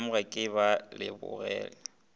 go nyamoga ke ba lebogela